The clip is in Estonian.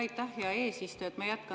Aitäh, hea eesistuja!